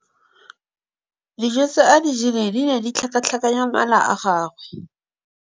Dijô tse a di jeleng di ne di tlhakatlhakanya mala a gagwe.